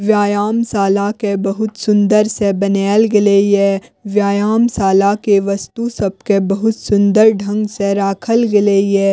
व्यायाम साला के बहुत सूंदर से बनाएल गले ये व्यायाम साला के वस्तु सब के बहुत सुन्दर ढंग से राखल गले ये।